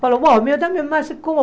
Falou, bom, o meu também, mas como?